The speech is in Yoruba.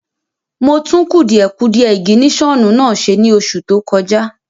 Mo tún kùdìẹ̀kudie ìgìnísọ̀nù náà ṣe ní oṣù tó kọjá